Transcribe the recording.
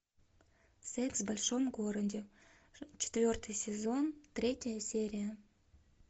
секс в большом городе четвертый сезон третья серия